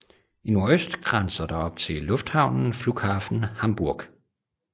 I nordøst grænses der op til lufthavnen Flughafen Hamburg